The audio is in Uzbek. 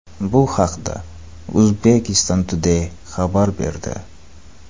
Bu haqda Uzbekistan Today xabar berdi .